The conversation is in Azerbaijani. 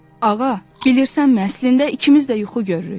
Ağa, bilirsənmi, əslində ikimiz də yuxu görürük.